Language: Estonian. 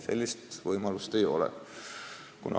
Sellist võimalust ei ole.